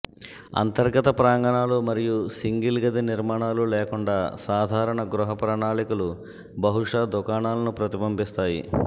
అంతర్గత ప్రాంగణాలు మరియు సింగిల్ గది నిర్మాణాలు లేకుండా సాధారణ గృహ ప్రణాళికలు బహుశా దుకాణాలను ప్రతిబింబిస్తాయి